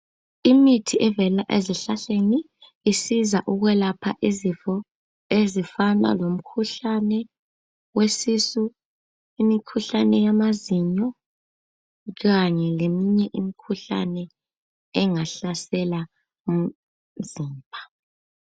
Imithi evela ezihlahleni isiza ukwelapha izifo ezifana lomkhuhlane wesisu, imikhuhlane yamazinyo kanye leminye imikhuhlane engahlasela imizimba.